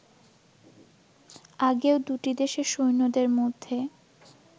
আগেও দুটি দেশের সৈন্যদের মধ্যে